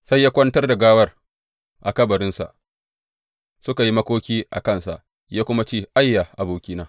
Sai ya kwantar da gawar a kabarinsa, suka yi makoki a kansa, ya kuma ce, Ayya, abokina!